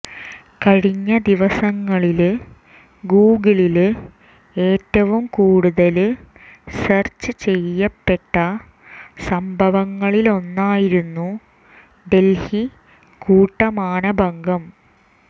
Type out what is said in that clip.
കഴിഞ്ഞ ദിവസങ്ങളില് ഗൂഗിളില് ഏറ്റവും കൂടുതല് സെര്ച്ച് ചെയ്യപ്പെട്ട സംഭവങ്ങളിലൊന്നായിരുന്നു ഡല്ഹി കൂട്ടമാനഭംഗം